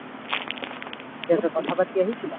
কথা পাতি আহিছিলা